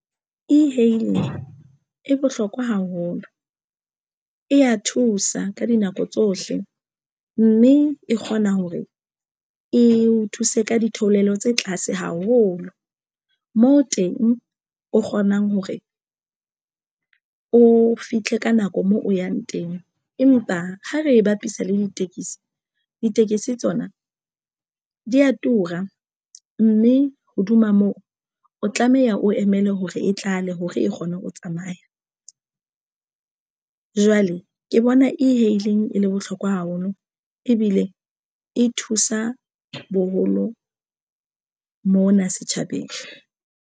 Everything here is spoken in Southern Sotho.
E-hailing e bohlokwa haholo, e a thusa ka dinako tsohle, mme e kgona hore e o thuse ka ditheolelo tse tlase haholo moo teng o kgonang hore o fihle ka nako moo o yang teng. Empa ha re bapisa le ditekesi, ditekesi tsona di a tura mme hodima moo o tlameha o emele hore e tlale hore e kgone ho tsamaya. Jwale ke bona e-hailing e le bohlokwa haholo ebile e thusa boholo mona setjhabeng.